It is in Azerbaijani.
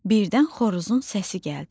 Birdən xoruzun səsi gəldi.